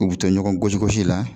U bi to ɲɔgɔn gosigosi la